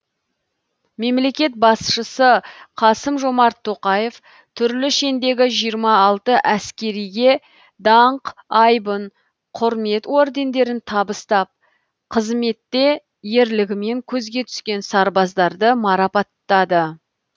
мемлекет басшысы қасым жомарт тоқаев түрлі шендегі жиырма алты әскериге даңқ айбын құрмет ордендерін табыстап қызметте ерлігімен көзге түскен сарбаздарды марапаттады